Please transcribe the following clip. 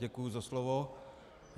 Děkuji za slovo.